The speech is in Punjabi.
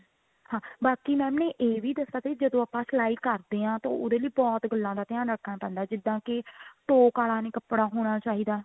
ਹਾਂ ਬਾਕੀ mam ਨੇ ਇਹ ਵੀ ਦੱਸਿਆ ਕਿ ਜਦੋਂ ਆਪਾਂ ਸਿਲਾਈ ਕਰਦੇ ਹਾਂ ਉਹਦੇ ਲਈ ਬਹੁਤ ਗੱਲਾਂ ਦਾ ਧਿਆਨ ਰੱਖਣਾ ਪੈਂਦਾ ਹੈ ਜਿੱਦਾਂ ਕਿ ਟੋਕ ਆਲਾ ਨਹੀਂ ਕੱਪੜਾ ਹੋਣਾ ਚਾਹੀਦਾ